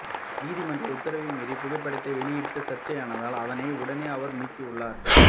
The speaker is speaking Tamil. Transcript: நீதிமன்ற உத்தரவை மீறி புகைப்படத்தை வெளியிட்டு சர்ச்சையானதால் அதனை உடனே அவர் நீக்கியுள்ளார்